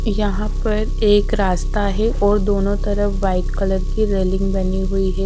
यहां पर एक रास्ता है और दोनों तरफ व्हाइट कलर की रेलिंग बनी हुई है।